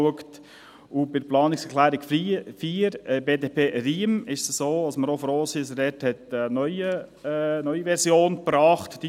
Bei der Planungserklärung 4, BDP/Riem, ist es so, dass wir auch froh sind, dass er dort eine neue Version gebracht hat.